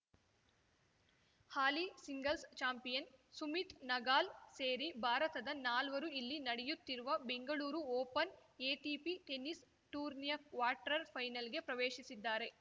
ಹಾಲಿ singles champion Sumit Nagal ಸೇರಿ ಭಾರತದ ನಾಲ್ವರು ಇಲ್ಲಿ ನಡೆಯುತ್ತಿರುವ ಬೆಂಗಳೂರು ಓಪನ್‌ ಎಟಿಪಿ ಟೆನಿಸ್‌ ಟೂರ್ನಿಯ ಕ್ವಾರ್ಟರ್ ಫೈನಲ್‌ ಗೆ ಪ್ರವೇಶಿಸಿದ್ದಾರೆ